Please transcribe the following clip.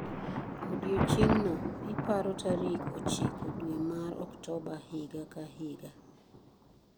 Odiechieng'no iparo tarik ochiko dwe mar Oktoba higa ka higa.